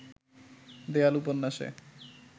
দেয়াল উপন্যাসে